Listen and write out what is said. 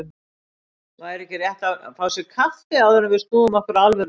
Væri ekki rétt að fá sér kaffi, áður en við snúum okkur að alvöru lífsins.